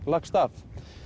lagst af